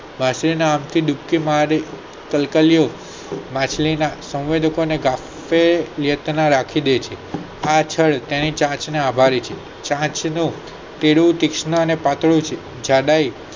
માછલી ની અંત ડૂબકી માં કલકલિયો માછલી ના સૌનદતો હોય છે આ ક્ષય તેને ચાચ નો આભારી છે ચાંચ નું થોડું તીક્ષણ કાટો જાડાઈ